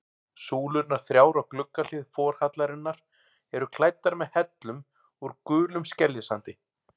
Súlurnar þrjár á gluggahlið forhallarinnar eru klæddar með hellum úr gulum skeljasandi.